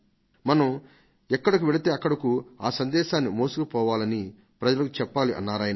మనం ఎక్కడకు వెళితే అక్కడకు ఆ సందేశాన్ని మోసుకుపోవాలని ప్రజలకు చెప్పాలి అని అన్నారు ఆయన